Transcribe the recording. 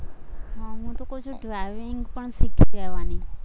હમ હું તો ક્વ છું driving પણ શીખી જવાનું